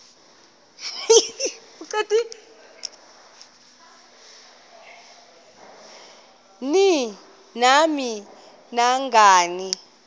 ni nam nangani